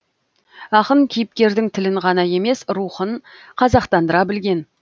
ақын кейіпкердің тілін ғана емес рухын қазақтандыра білген